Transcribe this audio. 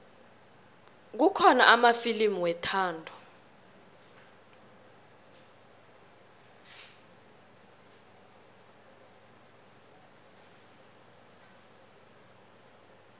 kukhona amafilimu wethando